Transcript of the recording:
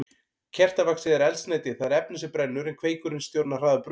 Kertavaxið er eldsneytið, það er efnið sem brennur, en kveikurinn stjórnar hraða brunans.